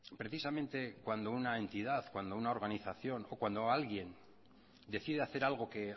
precisamente cuando una entidad cuando una organización o cuando alguien decide hacer algo que